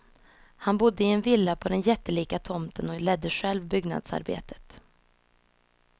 Han bodde i en villa på den jättelika tomten och ledde själv byggnadsarbetet.